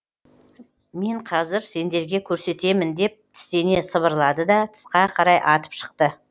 мен қазір сендерге көрсетемін деп тістене сыбырлады да тысқа қарай атып шықты